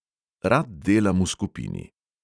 Rad delam v skupini.